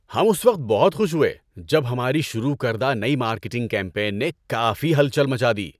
ہم اس وقت بہت خوش ہوئے جب ہماری شروع کردہ نئی مارکیٹنگ کمپین نے کافی ہلچل مچا دی۔